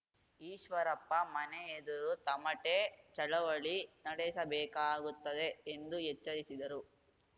ಈಶ್ವರಪ್ಪ ಮನೆ ಎದುರು ತಮಟೆ ಚಳವಳಿ ನಡೆಸಬೇಕಾಗುತ್ತದೆ ಎಂದು ಎಚ್ಚರಿಸಿದರು